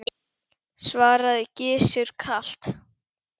svaraði Gizur kalt.